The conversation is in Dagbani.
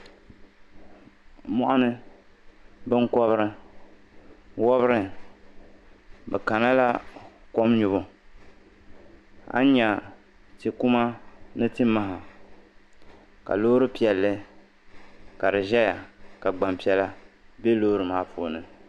Mɔɣuni binkɔbiri wobiri bɛ kana la kom nyubu a ni nya tikuma ni timaha ka loori piɛlli ka di zaya ka gbampiɛla be loori maa puuni.